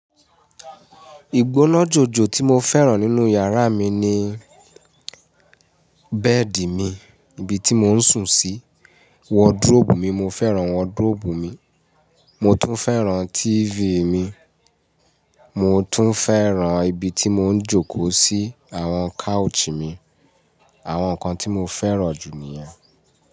Ìgbóná jòjò tí mo fẹ́ràn nínú yàrá mi ni bẹ́ẹ̀dì mi, ibi tí mò ń sùn sí, wọdróòbù mi, mo fẹ́ràn wọdróòbù mi, mo tún fẹ́ràn Tifì mi, mo tún fẹ́ràn ibi tí mò ń jókòó sí, àwọn káúçì mi. Àwọn nǹkan tí mo fẹ́ràn jù ni yẹn.